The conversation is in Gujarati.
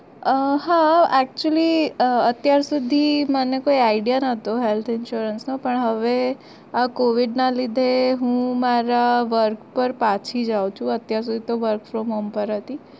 અ હા actually અત્યાર સુધી મને કોઈ idea ન તો health insurance નો પણ હવે covid ના લીધે હું મારા work પર પછી જાઉં છુ અત્યાર સુધી તો work from home પર હતી